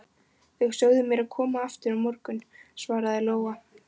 Þau sögðu mér að koma aftur á morgun, svaraði Lóa.